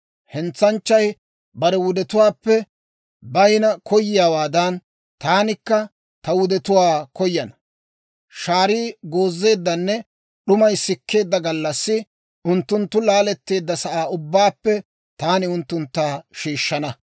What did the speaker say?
Hentsanchchay bare wudetuwaappe bayina koyiyaawaadan, taanikka ta wudetuwaa koyana; shaarii goozeeddanne d'umay sikkeedda gallassi unttunttu laaletteedda sa'aa ubbaappe taani unttuntta shiishshana.